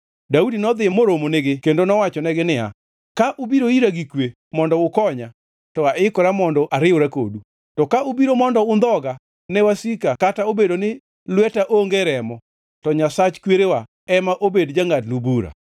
Daudi nodhi moromo nigi kendo nowachonegi niya, “Ka ubiro ira gi kwe mondo ukonya, to aikora mondo ariwra kodu, to ka ubiro mondo undhoga ne wasika kata obedo ni lweta onge remo, to Nyasach kwerewa ema obed jangʼadnu bura.”